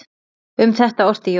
Um þetta orti Jón